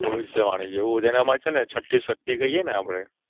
ભવિષ્યવાણી જેવું જેમાં છેને છઠ્ઠી શક્તિ કઈ એને આપણે